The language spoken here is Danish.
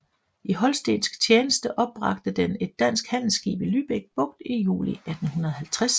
I holstensk tjeneste opbragte den et dansk handelsskib i Lübeck Bugt i juli 1850